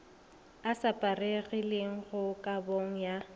a šaparegilego mo kabong ya